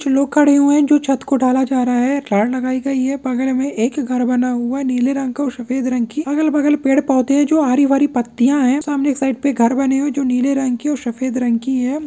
कुछ लोग खड़े हुए हैं जो छत को ढ़ाला जा रहा है रॉड लगाई गई है बगल में एक घर बना हूआ है नीले रंग का और सफेद रंग की अगल-बगल पेड़-पौधे हैं जो हरी-भरी पत्तियाँ हैं सामने एक साइड पे घर बने हुए हैं जो नीले रंग की ओर सफेद रंग की है।